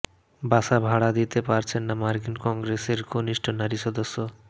বাসা ভাড়া দিতে পারছেন না মার্কিন কংগ্রেসের কনিষ্ঠ নারী সদস্য